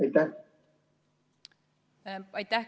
Aitäh!